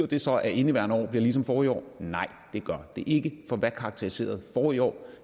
det så at indeværende år bliver ligesom forrige år nej det gør det ikke for hvad karakteriserede forrige år